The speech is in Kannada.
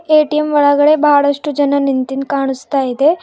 ಎ_ಟಿ_ಎಂ ಒಳಗಡೆ ಬಹಳಷ್ಟು ಜನ ನಿಂತಿದ್ ಕಾಣಸ್ತಾ ಇದೆ.